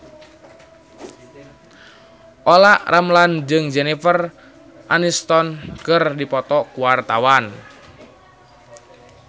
Olla Ramlan jeung Jennifer Aniston keur dipoto ku wartawan